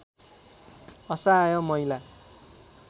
असहाय महिला